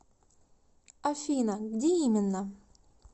афина где именно